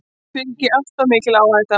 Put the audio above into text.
Því fylgi alltof mikil áhætta.